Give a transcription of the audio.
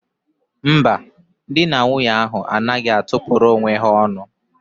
Mba, dị na nwunye ahụ anaghị atụ pụrụ onwe ha ọnụ.